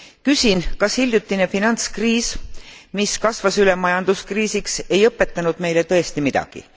Küsin, kas hiljutine finantskriis, mis kasvas üle majanduskriisiks, ei õpetanud meile tõesti midagi.